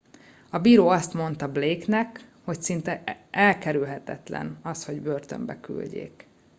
a bíró azt mondta blake nek hogy szinte elkerülhetetlen az hogy börtönbe küldjék